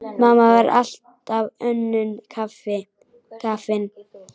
Mamma var alltaf önnum kafin.